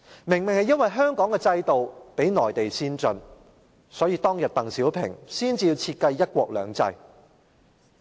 正是因為香港的制度較內地先進，所以鄧小平當年才會設計"一國兩制"。